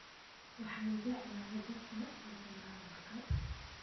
Waxaan jeclahay dadka maqla hadhalka.